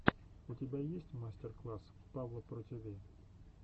у тебя есть мастер класс павла про тиви